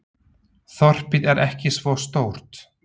Þorpið er ekki svo stórt.